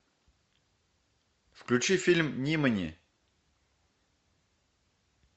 включи фильм нимани